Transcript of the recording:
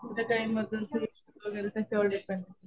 त्याच्यामधून शिफ्ट वगैरे त्याच्यावर डिपेंड आहे.